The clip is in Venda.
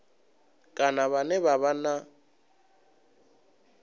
kana vhane vha vha na